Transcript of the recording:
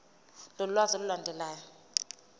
lolu lwazi olulandelayo